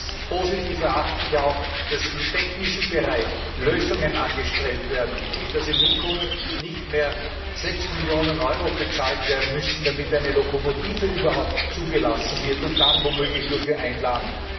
Als positiv erachte ich auch, dass im technischen Bereich Lösungen angestrebt werden, damit in Hinkunft nicht mehr 6Millionen Euro bezahlt werden müssen, damit eine Lokomotive überhaupt zugelassen wird und dann womöglich nur für ein Land.